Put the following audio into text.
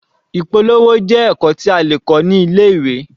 Ìpolówó jẹ́ ẹ̀kọ́ tí a lè kọ́ ní ilé-ìwé.